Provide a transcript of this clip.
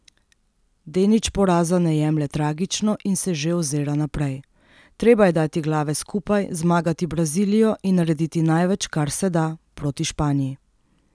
Denič poraza ne jemlje tragično in se že ozira naprej: 'Treba je dati glave skupaj, zmagati Brazilijo in narediti največ, kar se da, proti Španiji.